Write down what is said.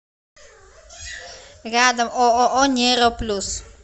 рядом ооо нейро плюс